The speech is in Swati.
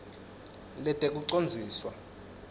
letekucondziswa